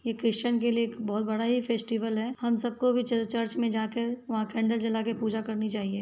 ये क्रिस्चन के लिए एक बहुत बड़ा ही फेस्टिवल्स है हम सबको भी च चर्च में जा के वहाँ कैंडल जला के पूजा करनी चाहिए।